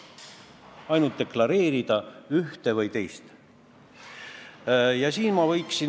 Ainult deklareerida, ühte või teist.